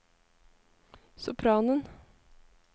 sopranen